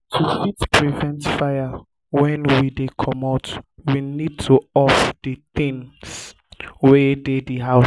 to fit prevent fire when we dey comot we need to off di things wey dey di house